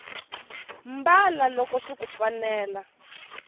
mbala loko swiku fanela